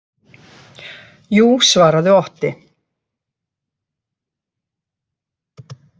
Jú, svaraði Otti.